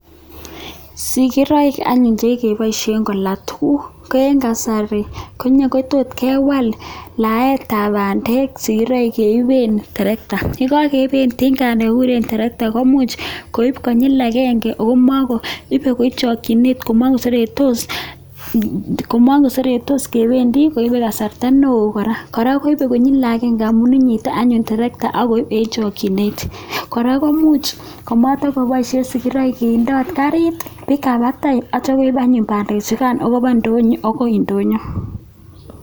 Sikiroik anyun che kikeboishen kola tukuk eng kasari ko nyakutut ke wal laetab bandek sikiroik che iwen tirekta, ye kakeiben tinga ne kikuren tirekta komuch koib konyil agenge aku mako ibe eng chokchinet ko makuseretos kebendi koibe kasarta neoo kora, kora koibe konyil agenge amun inyit anyun tirekta akoib eng chokchinet. Kora komuch komate kobaishe sikiraik kindot karit biik ab batai achabe anyun bandechukan akuba ndonyo agoi ndonyo.